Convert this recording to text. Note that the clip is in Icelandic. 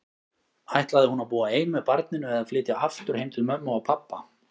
Ætlaði hún að búa ein með barninu, eða flytja aftur heim til mömmu og pabba?